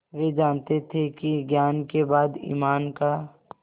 वे जानते थे कि ज्ञान के बाद ईमान का